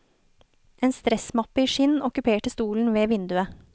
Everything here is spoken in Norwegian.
En stressmappe i skinn okkuperte stolen ved vinduet.